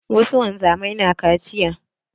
Wasu wanzamai na kaciya.